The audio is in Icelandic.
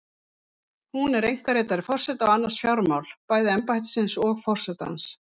Hún er einkaritari forseta og annast fjármál, bæði embættisins og forsetans.